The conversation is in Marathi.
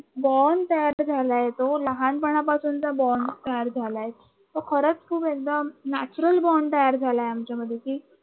बोंड तयार झालाय तो लहानपणापासूनचा बोंड तयार झालाय तो खरच खूप एकदम नॅचरल बॉण्ड तयार झाल्या आमच्यामध्ये